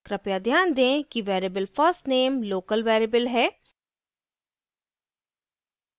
कृपया ध्यान दें कि variable first _ name local variable है